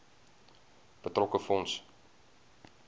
betrokke fonds